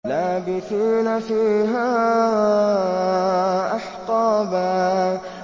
لَّابِثِينَ فِيهَا أَحْقَابًا